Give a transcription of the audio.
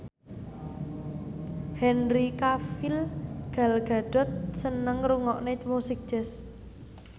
Henry Cavill Gal Gadot seneng ngrungokne musik jazz